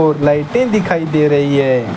और लाइटे दिखाई दे रही है।